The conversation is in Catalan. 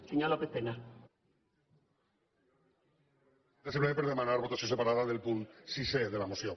era simplement per demanar votació separada del punt sisè de la moció